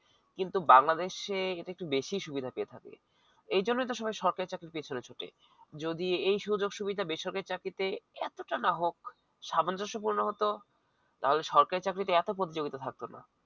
কিন্তু বাংলাদেশে এটা একটা বেশি সুবিধা দিয়ে থাকে এজন্য তো সবাই সরকারি পেছনে ছুটে যদি এই সুযোগ। সুবিধা বেসরকারি চাকরিতে এতটা না হোক সামঞ্জস্য পরিমাণ মতো তাহলে সরকারি চাকরিটা এত প্রতিযোগিতা থাকতো না